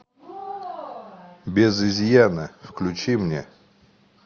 без изъяна включи мне